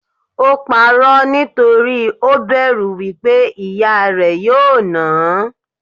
Ò pa'rọ́ nítorí ó bẹ̀rù wípé ìyá rẹ̀ yóò náà hán.